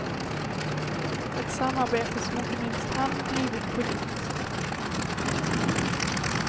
Ett samarbete som inte minst han drivit politiskt.